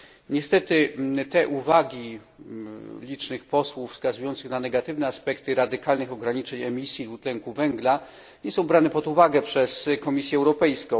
Niestety, te uwagi licznych posłów, wskazujących na negatywne aspekty radykalnych ograniczeń emisji dwutlenku węgla, nie są brane pod uwagę przez Komisję Europejską.